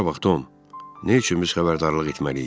Bura bax Tom, nə üçün biz xəbərdarlıq etməliyik?